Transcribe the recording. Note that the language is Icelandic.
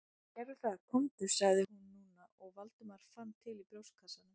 Æ, gerðu það komdu- sagði hún núna og Valdimar fann til í brjóstkassanum.